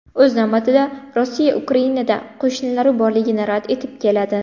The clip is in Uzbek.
O‘z navbatida, Rossiya Ukrainada qo‘shinlari borligini rad etib keladi.